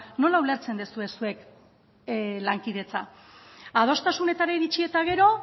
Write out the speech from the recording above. nola ulertzen duzue zuek lankidetza adostasunetara iritsi eta gero